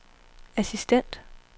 assistent